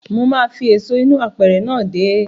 Mo máa fi èso inú apẹ̀rẹ̀ náà dè ẹ́.